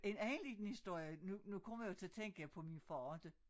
En anden liden historie nu nu kommer jeg jo til at tænke på min far inte